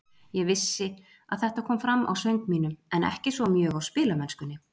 Ég vissi að þetta kom fram á söng mínum, en ekki svo mjög á spilamennskunni.